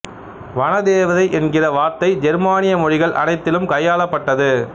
வனதேவதை என்கிற வார்த்தை ஜெர்மானிய மொழிகள் அனைத்திலும் கையாளப் பட்டது